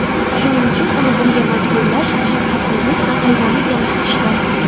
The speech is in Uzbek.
Shuning uchun uni bunga majburlash shafqatsizlik va hayvonni kamsitishdir.